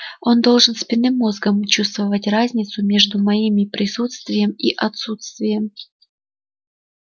он должен спинным мозгом чувствовать разницу между моими присутствием и отсутствием